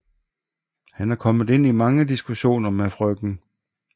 Han er kommet ind i mange diskussioner med Frk